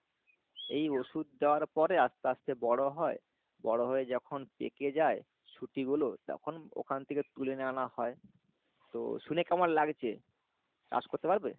এই ওষুধ দেওয়ার পরে আস্তে আস্তে বড়ো হয় বড়ো হয়ে যখন পেকে যায় সুতিগুলো তখন ওখান থেকে তুলে এনে আনা হয় তো শুনে কেমন লাগছে? চাষ করতে পারবে?